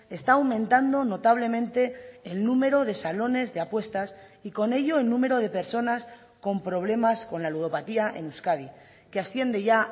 está aumentando notablemente el número de salones de apuestas y con ello el número de personas con problemas con la ludopatía en euskadi que asciende ya